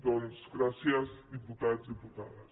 doncs gràcies diputats diputades